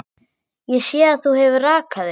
Ég sé að þú hefur rakað þig.